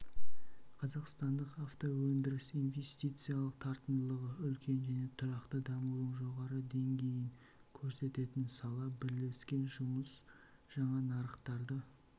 қазақстандық автоөндіріс инвестициялық тартымдылығы үлкен және тұрақты дамудың жоғары деңгейін көрсететін сала бірлескен жұмыс жаңа нарықтарды